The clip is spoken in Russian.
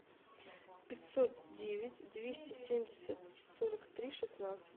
пятьсот девять двести семьдесят сорок три шестнадцать